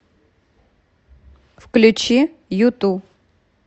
включи юту